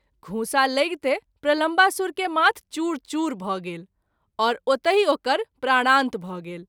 घूँसा लैगते प्रलम्बासूर के माथ चूर चूर भ’ गेल आओर ओतहि ओकर प्राणांत भ’ गेल।